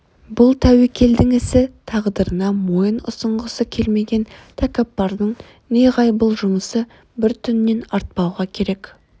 бұл тәуекелдің ісі тағдырына мойын ұсынғысы келмеген тәкаппардың неғайбыл жұмысы бір түннен артпауға керек